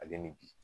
Ale ni bi